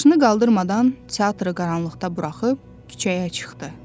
Başını qaldırmadan, teatırı qaranlıqda buraxıb küçəyə çıxdı.